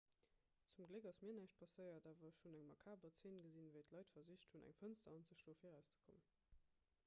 zum gléck ass mir näischt passéiert awer ech hunn eng makaber zeen gesinn wéi d'leit versicht hunn eng fënster anzeschloe fir erauszekommen